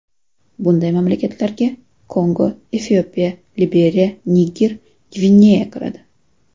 Bunday mamlakatlarga Kongo, Efiopiya, Liberiya, Niger, Gvineya kiradi.